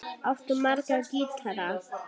Áttu marga gítara?